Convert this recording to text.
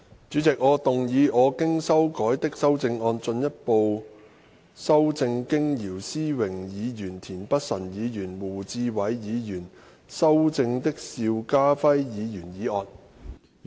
主席，我動議我經修改的修正案，進一步修正經姚思榮議員、田北辰議員及胡志偉議員修正的邵家輝議員議案。